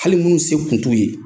Hali minnu se tun t'u ye